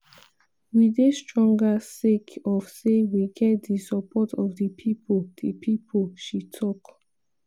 "we dey stronger sake of say we get di support of di pipo" di pipo" she tok.